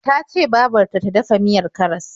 Ta ce babar ta ta dafa miyar karas.